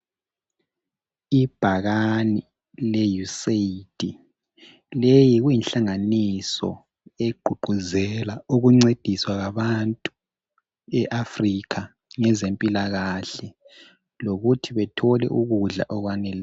Ibhakane le USAID leyi kuyinhlanganiso egqugquzela ukuncediswa kwabantu eAfrica ngezempilakahle lokuthi bethole ukudla okwaneleyo.